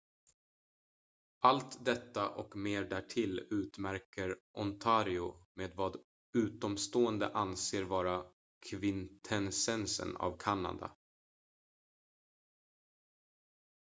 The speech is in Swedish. allt detta och mer därtill utmärker ontario med vad utomstående anser vara kvintessensen av kanada